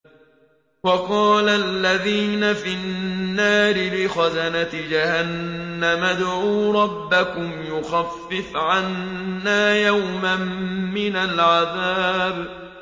وَقَالَ الَّذِينَ فِي النَّارِ لِخَزَنَةِ جَهَنَّمَ ادْعُوا رَبَّكُمْ يُخَفِّفْ عَنَّا يَوْمًا مِّنَ الْعَذَابِ